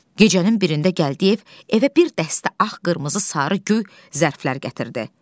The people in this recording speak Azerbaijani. Gecənin birində Gəldiyev evə bir dəstə ağ, qırmızı, sarı, göy zərflər gətirdi.